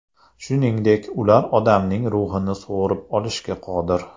Shuningdek, ular odamning ruhini so‘rib olishga qodir.